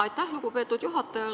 Aitäh, lugupeetud juhataja!